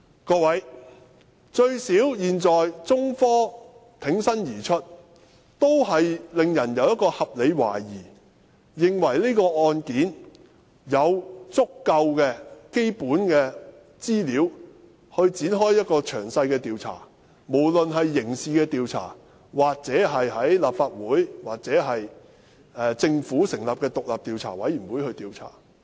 各位，現在起碼有中科挺身而出，令人有合理懷疑，認為事件有足夠的基本資料展開詳細調查，不論是刑事調查、在立法會展開調查，或由政府成立獨立調查委員會作出調查。